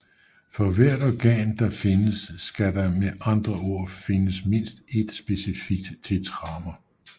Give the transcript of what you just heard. For hvert organ findes skal der med andre ord fiindes mindst ét specifikt tetramer